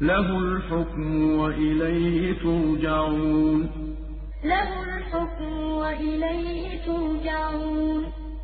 لَهُ الْحُكْمُ وَإِلَيْهِ تُرْجَعُونَ وَلَا تَدْعُ مَعَ اللَّهِ إِلَٰهًا آخَرَ ۘ لَا إِلَٰهَ إِلَّا هُوَ ۚ كُلُّ شَيْءٍ هَالِكٌ إِلَّا وَجْهَهُ ۚ لَهُ الْحُكْمُ وَإِلَيْهِ تُرْجَعُونَ